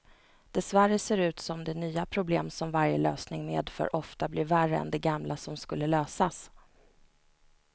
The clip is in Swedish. Dessvärre ser det ut som de nya problem som varje lösning medför ofta blir värre än de gamla som skulle lösas.